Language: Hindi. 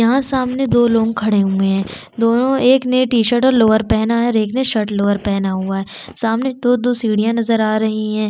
यहाँ सामने दो लोग खड़े हुए है दोनों एक ने टी शर्ट और लोअर पहना है और एक ने शर्ट लोअर पहना हुआ है सामने दो-दो सीढिया नज़र आ रही है।